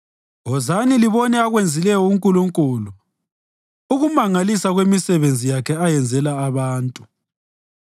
Wozani libone akwenzileyo uNkulunkulu, ukumangalisa kwemisebenzi yakhe ayenzela abantu!